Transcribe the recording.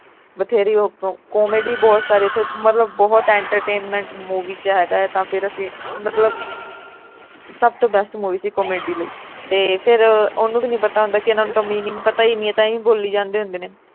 ਬਥੇਰੀ ਉਹ comedy ਬਹੁਤ ਸਾਰੀ ਉਥੇ ਮਤਲਬ ਬਹੁਤ entertainment movie ਵਿਚ ਹੈਗਾ ਏ ਆ ਫਿਰ ਅਸੀਂ ਮਤਲਬ ਸਭ ਤੋਂ best movie ਸੀ comedy ਲਈ ਤੇ ਫਿਰ ਉਹਨੂੰ ਵੀ ਨਹੀਂ ਹੁੰਦਾ ਕਿ ਇਨ੍ਹਾਂ ਨੂੰ ਤਾਂ meaning ਪਤਾ ਈ ਨਹੀਂ ਇਹ ਤਾਂ ਏ ਹੀ ਬੋਲੀ ਜਾਂਦੇ ਹੁੰਦੇ ਨੇ